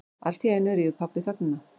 Alltíeinu rýfur pabbi þögnina.